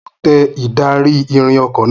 Mo tẹ ìdarí-ìrìn ọkọ náà